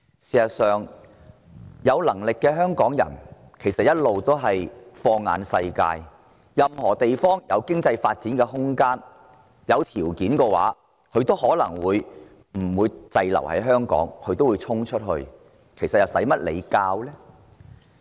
事實上，有能力的香港人一直放眼世界，任何地方有經濟發展空間及優厚條件，他們都願意去闖一闖，不會呆在香港，哪需要政府提點？